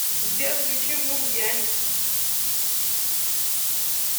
сбер включи мув яникс